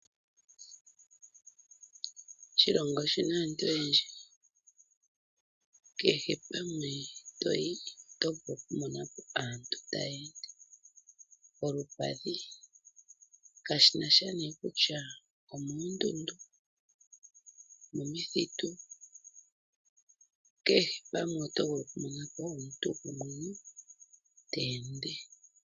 Oshilongo oshina aantu oyendji. Kehe mpoka toyi oto vulu oku mona po aantu taya ende kolupadhi, kashina sha nee kutya omoondundu, omomithitu, kehe pamwe oto vulu oku mona po omuntu iili ta ende.